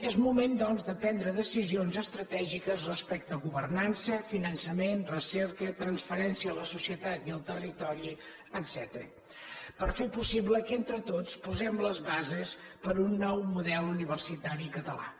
és moment doncs de prendre decisions estratègiques respecte a governan·ça finançament recerca transferència a la societat i al territori etcètera per fer possible que entre tots posem les bases per a un nou model universitari català